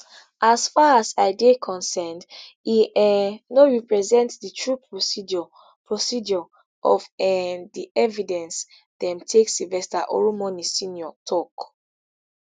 as far as i dey concerned e um no represent di true procedure procedure of um di evidence dem take sylvester oromoni snr tok